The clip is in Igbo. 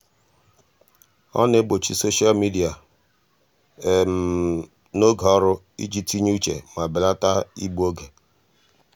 ọ na-egbochi soshal midịa n'oge ọrụ iji tinye uche ma belata igbu oge.